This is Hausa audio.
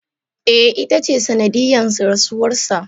e, ita ce sanadiyan rasuwarsa.